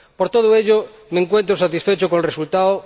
Por todo ello, me encuentro satisfecho con el resultado.